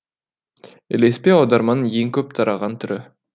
ілеспе аударманың ең көп тараған түрі